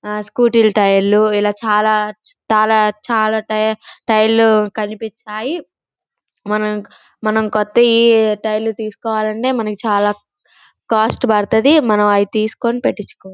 ఆ స్కూటీ ల టైర్ లు ఇలా చాల-చాల-చాల-చాల టైర్లు కనిపించాయి. మనకి మనకి కొట్టాయి. టైర్ లు తీసుకోవాలంటే నాకు చాలా కాస్ట్ పడతాది. మనం అవి తీసుకుని పెట్టించుకోవచ్చు.